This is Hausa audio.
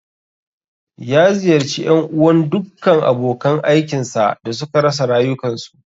Ya ziyarci ƴan uwan ​​dukkan abokan aikin sa da suka rasa rayukansu.